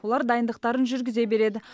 олар дайындықтарын жүргізе береді